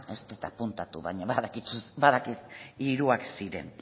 ez dut apuntatu baina badakit hiruak ziren